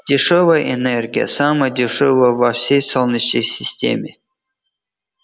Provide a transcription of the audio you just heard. дешёвая энергия самая дешёвая во всей солнечной системе